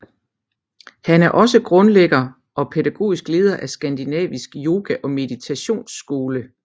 Han er også grundlægger og pædagogiske leder af Skandinavisk Yoga og Meditationsskole